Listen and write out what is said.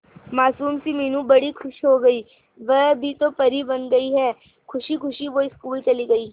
मासूम सी मीनू बड़ी खुश हो गई कि वह भी तो परी बन गई है खुशी खुशी वो स्कूल चली गई